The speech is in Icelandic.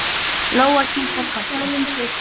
Lóa kinkaði kolli.